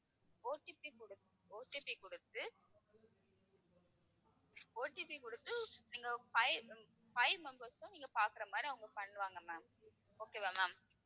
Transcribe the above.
OTP கொடுத்~ OTP கொடுத்து OTP கொடுத்து நீங்க five அஹ் five members உம் நீங்கப் பார்க்கிற மாதிரி அவங்க பண்ணுவாங்க ma'am okay வா ma'am